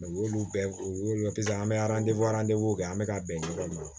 u y'olu bɛɛ o dɔ kɛ sisan an bɛ kɛ an bɛ ka bɛn ɲɔgɔn ma